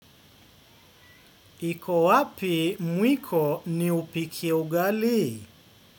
Iko wapi mwiko niupike ugali.